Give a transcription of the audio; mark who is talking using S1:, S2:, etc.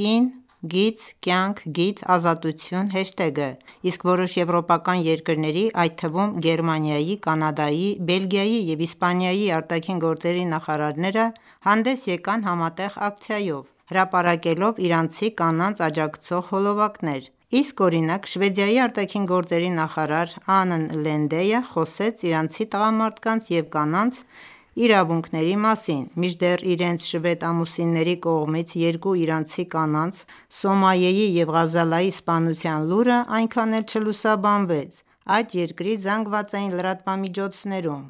S1: #կին-կյանք-ազատություն հեշթեգը, իսկ որոշ եվրոպական երկրների, այդ թվում՝ Գերմանիայի, Կանադայի, Բելգիայի և Իսպանիայի արտաքին գործերի նախարարները հանդես եկան համատեղ ակցիայով՝ հրապարակելով իրանցի կանանց աջակցող հոլովակներ: Իսկ օրինակ Շվեդիայի արտաքին գործերի նախարար Անն Լինդեյը խոսեց իրանցի տղամարդկանց և կանանց իրավունքների մասին, մինչդեռ իրենց շվեդ ամուսինների կողմից երկու իրանցի կանանց՝ Սոմայեի և Ղազալի սպանության լուրն այնքան էլ չլուսաբանվեց այդ երկրի ԶԼՄ-ներում: